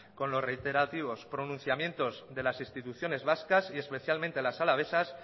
con los reiterativos pronunciamientos de las instituciones vascas y especialmente las alavesas